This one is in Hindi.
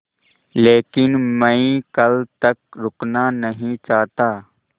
लेकिन मैं कल तक रुकना नहीं चाहता